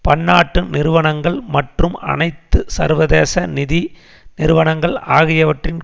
பன்னாட்டு நிறுவனங்கள் மற்றும் அனைத்து சர்வதேச நிதி நிறுவனங்கள் ஆகியவற்றின்